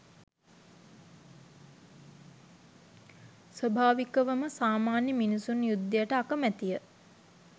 ස්වභාවිකවම සාමාන්‍ය මිනිසුන් යුද්ධයට අකමැතිය.